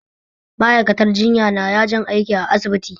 Ma'aikatar jinya na yajin aiki a asibiti